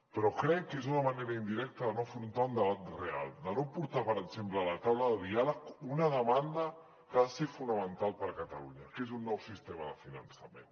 però crec que és una manera indirecta de no afrontar un debat real de no portar per exemple a la taula de diàleg una demanda que ha de ser fonamental per a catalunya que és un nou sistema de finançament